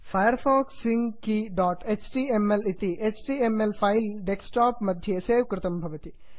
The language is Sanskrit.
फायरफॉक्स सिंक keyएचटीएमएल इति H T M L file desktop मध्ये सेव् कृतं भवति